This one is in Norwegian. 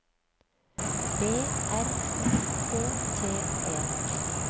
B R U K T E